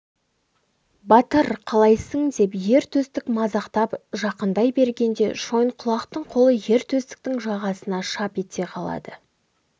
батыр қалайсың деп ер төстік мазақтап жақындай бергенде шойынқұлақтың қолы ер төстіктің жағасына шап ете қалады